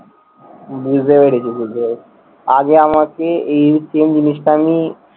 বুঝতে পেরেছি, বুঝতে পেরেছি। আগে আমাকে এই same জিনিসটা আমি